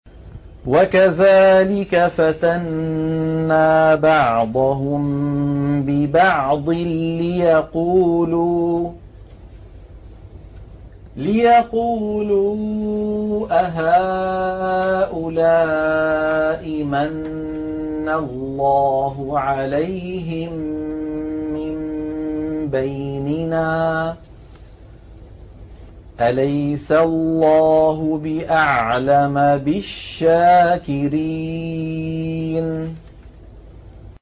وَكَذَٰلِكَ فَتَنَّا بَعْضَهُم بِبَعْضٍ لِّيَقُولُوا أَهَٰؤُلَاءِ مَنَّ اللَّهُ عَلَيْهِم مِّن بَيْنِنَا ۗ أَلَيْسَ اللَّهُ بِأَعْلَمَ بِالشَّاكِرِينَ